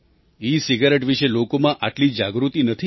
e cigarette વિશે લોકોમાં આટલી જાગૃતિ નથી